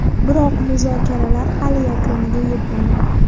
Biroq muzokaralar hali yakuniga yetmagan.